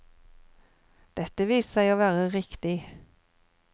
Dette viste seg å være riktig.